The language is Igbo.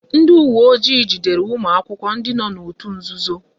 Ndị uwe ojii jidere ụmụ akwụkwọ ndị nọ n'òtù nzuzo